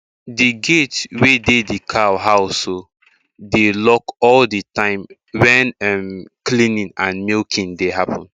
di gate wey dey di cow house um dey lock all di time wen um cleaning and milking dey happen